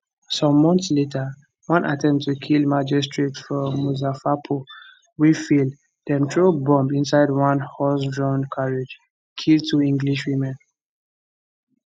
some months later one attempt to kill magistrate for muzaffarpur wey fail dem throw bomb inside one horsedrawn carriage kill two english women